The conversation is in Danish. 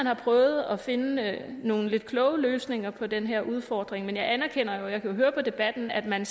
har prøvet at finde nogle lidt kloge løsninger på den her udfordring men jeg anerkender og jeg kan jo høre på debatten at man